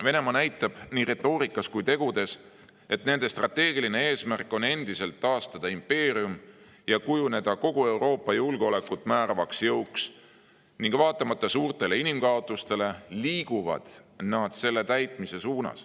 Venemaa näitab nii retoorikas kui ka tegudes, et nende strateegiline eesmärk on endiselt taastada impeerium ja kujuneda kogu Euroopas julgeolekut määravaks jõuks ning vaatamata suurtele inimkaotustele liiguvad nad selle täitmise poole.